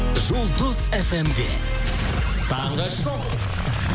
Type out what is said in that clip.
жұлдыз фм де таңғы шоу